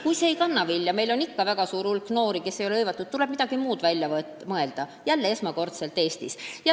Kui see projekt ei kanna vilja – meil on ikka väga suur hulk noori, kes ei ole tööga hõivatud –, tuleb jälle esmakordselt Eestis midagi muud välja mõelda.